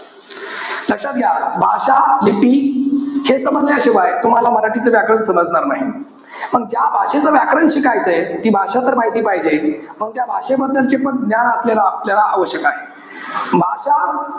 लक्षात घ्या, भाषा, लिपी हे समजल्याशिवाय तुम्हाला मराठीचे व्याकरण समजणार नाही. पण ज्या भाषेचं व्याकरण शिकायचंय, ती भाषा तर माहिती पाहिजे. मग त्या भाषेबद्दलच पण ज्ञान आपल्याला आवश्यक आहे. भाषा,